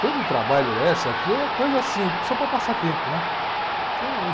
de trabalho essa aqui é coisa assim, só para passar tempo, né? Tem um...